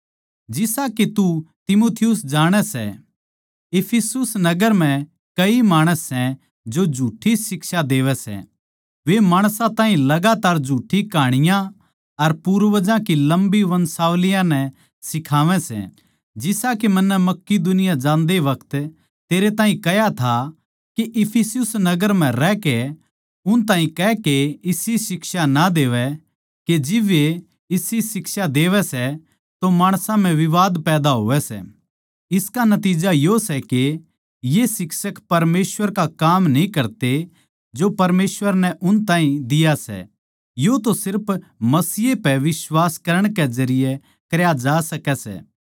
जिसा के तू तीमुथियुस जाणै सै इफिसुस नगर म्ह कई माणस सै जो गलत शिक्षा देवै सै वे माणसां ताहीं लगातार झुठ्ठी कहानियाँ अर पूर्वजां की लम्बी वंशावलियाँ नै सिखावै सै मन्नै तेरे तै कह्या था के इफिसुस नगर म्ह रहकै उन ताहीं कह के इसी शिक्षा ना देवै जिब वे इसी शिक्षा देवै सै तो माणसां म्ह विवाद पैदा होवै सै इसका नतिज्जा यो सै के ये शिक्षक परमेसवर का काम न्ही करते जो परमेसवर नै उन ताहीं दिया सै यो तो सिर्फ मसीह पैए बिश्वास करण के जरिये ए करया जा सकै सै